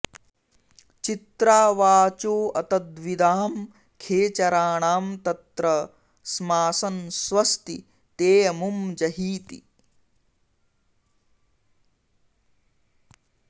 चित्रा वाचोऽतद्विदां खेचराणां तत्र स्मासन् स्वस्ति तेऽमुं जहीति